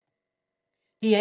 DR1